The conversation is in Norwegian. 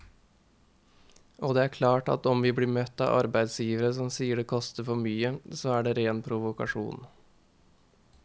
Og det er klart at om vi blir møtt av arbeidsgivere som sier det koster for mye, så er det en ren provokasjon.